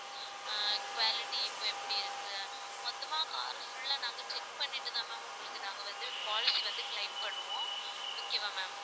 ஆஹ் quality இப்ப எப்படி இருக்கு மொத்தமா carfull ஆ நாங்க check பண்ணிட்டுதான் ma'am உங்களுக்கு நாங்க வந்து policy வந்து claim பண்ணுவோம் okay வா ma'am